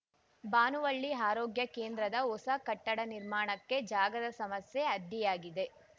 ಭಾನುವಳ್ಳಿ ಆರೋಗ್ಯ ಕೇಂದ್ರದ ಹೊಸ ಕಟ್ಟಡ ನಿರ್ಮಾಣಕ್ಕೆ ಜಾಗದ ಸಮಸ್ಯೆ ಅಡ್ಡಿಯಾಗಿದೆ